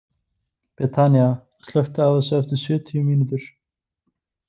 Betanía, slökktu á þessu eftir sjötíu mínútur.